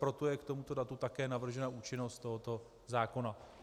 Proto je k tomuto datu také navržena účinnost tohoto zákona.